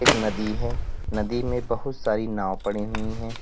नदी है नदी में बहुत सारी नांव पड़ी हुई है।